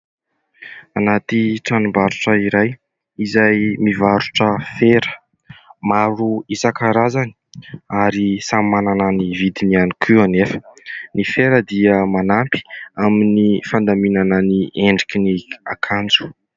Anaty tranombarotra iray : izay mivarotra fera maro isankarazany ary samy manana ny vidiny ihany koa anefa. Ny fera dia manampy amin'ny fandaminana ny endriky ny akanjo.